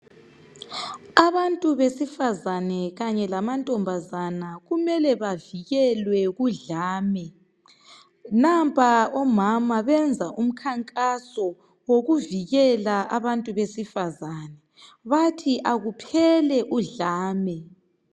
Abantu besifazane kanye lamantombazane kumele bevikelwe kudlame nampa omama bezwa umkankaso elokuvikela abantu besifazane bathi aluphele uhlame